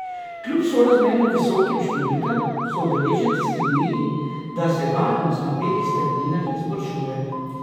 Kljub sorazmerno visokim številkam so udeleženci sklenili, da se varnost na belih strminah izboljšuje.